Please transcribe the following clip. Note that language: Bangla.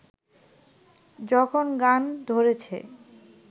যখন গান ধরেছে